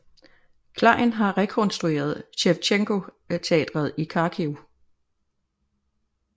Klejn har han rekonstrueret Shevchenko Teatret i Kharkiv